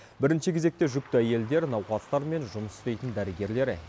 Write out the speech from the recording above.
бірінші кезекте жүкті әйелдер науқастармен жұмыс істейтін дәрігерлер